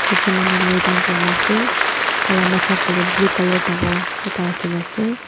ekjun manu laydown kurina asae taila mata falae blue colour dangor ekta rakina asae.